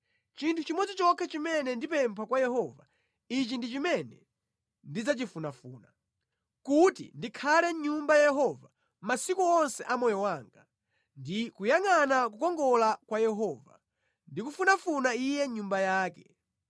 Chinthu chimodzi chokha chimene ndipempha kwa Yehova, ichi ndi chimene ndidzachifunafuna: kuti ndikhale mʼNyumba ya Yehova masiku onse a moyo wanga, ndi kuyangʼana kukongola kwa Yehova, ndi kumufunafuna Iye mʼNyumba yake.